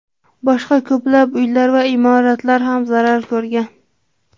Boshqa ko‘plab uylar va imoratlar ham zarar ko‘rgan.